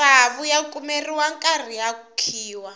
matsavu ya kumeriwa nkarhi ya khiwa